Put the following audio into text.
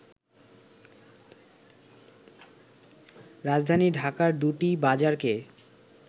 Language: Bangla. রাজধানী ঢাকার দুটি বাজারকে